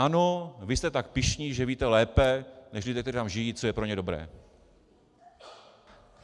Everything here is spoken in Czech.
Ano, vy jste tak pyšní, že víte lépe než lidé, kteří tam žijí, co je pro ně dobré.